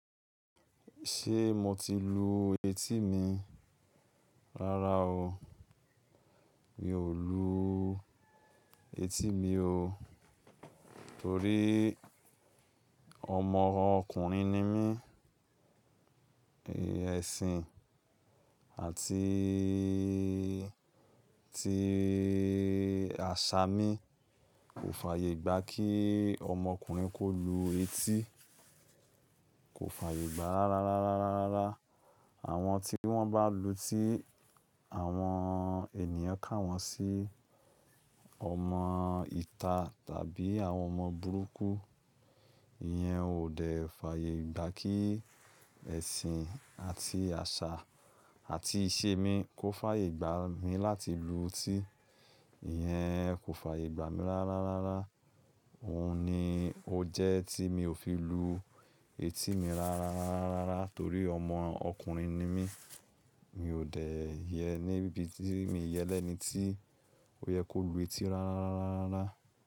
Ṣé mo ti lu etí mi? Rárá oo, mi ò luu etí mi oo. Torí ọmọ ọkùnrin ni mí, ẹ̀sìn àtii, tií àṣà mi kò fàyè gbà kíi ọmọkùnrin kó lu etí, kò fàyè gbà rárá, rárá, rárá, rárá. Àwọn tí wọ́n bá lu tí, àwọn ènìyàn kà wọ́n sí ọmọ ìta tàbí àwọn ọmọ burúkú. Ìyẹn ò dẹ̀ fàyè gbà kí ẹ̀sìn àti àṣà àti ìṣe mi kó fàyè gbà mí láti lu tí, ìyẹn kò f'àyè gbà mí rárá, rárá. Òun ni ó jẹ́ tí mi ò fi lu etí mi rá rá rá rá rá torí ọmọ ọkùnrin ni mí. Mi ò dẹ̀ yẹ níbí tí, mii yẹ lẹ́ni tí ó yẹ kó lu etí rárá, rárá, rárá, rárá.